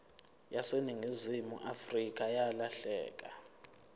yaseningizimu afrika yalahleka